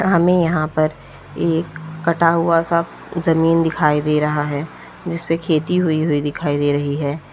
हमें यहां पर एक कटा हुआ सा जमीन दिखाई दे रहा है जिसपे खेती होई हुई दिखाई दे रही है।